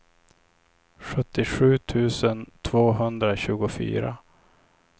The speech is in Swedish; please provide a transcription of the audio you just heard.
sjuttiosju tusen tvåhundratjugofyra